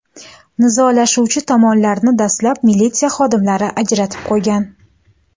Nizolashuvchi tomonlarni dastlab militsiya xodimlari ajratib qo‘ygan.